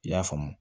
I y'a faamu